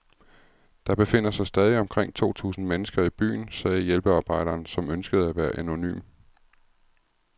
Der befinder sig stadig omkring to tusind mennesker i byen, sagde hjælpearbejderen, som ønskede at være anonym.